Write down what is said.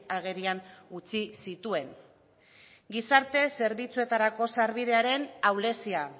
agerian utzi zituen gizarte zerbitzuetarako sarbidearen ahulezia